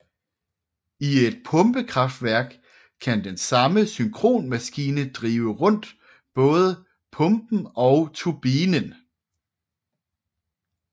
I et pumpekraftværk kan den samme synkronmaskine drive rundt både pumpen og turbinen